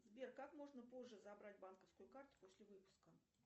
сбер как можно позже забрать банковскую карту после выпуска